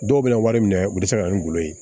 Dɔw bɛ na wari minɛ u bɛ se ka na ni gulɔ ye